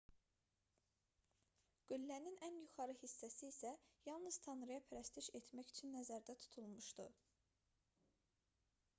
qüllənin ən yuxarı hissəsi isə yalnız tanrıya pərəstiş etmək üçün nəzərdə tutulmuşdu